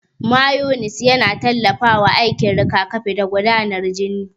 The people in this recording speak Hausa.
Mayones yana tallafawa aikin rigakafi da gudanar jini.